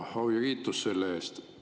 Au ja kiitus selle eest.